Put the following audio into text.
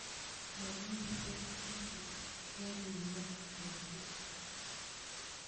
Momiten kichut yakerimande bii